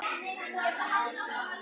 Mörg ár síðan.